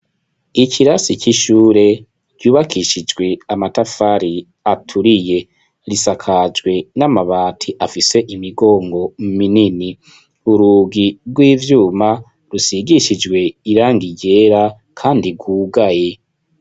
Ikirasi c'ishure ryubakishijwe amatafari aturiye. Risakajwe n'amabati afise imigongo minini. Urugi rw'ivyuma rusigishijwe irangi ryera kandi rwugaye.